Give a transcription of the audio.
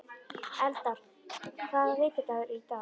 Eldar, hvaða vikudagur er í dag?